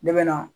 Ne bɛ na